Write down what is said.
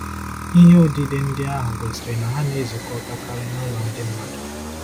Ihe odide ndị ahụ gosiri na ha na-ezukọtakarị n’ụlọ ndị mmadụ.